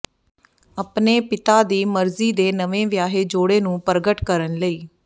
ਆਪਣੇ ਪਿਤਾ ਦੀ ਮਰਜ਼ੀ ਦੇ ਨਵੇਂ ਵਿਆਹੇ ਜੋੜੇ ਨੂੰ ਪ੍ਰਗਟ ਕਰਨ ਲਈ